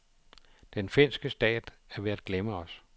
Den finske stat er ved at glemme os.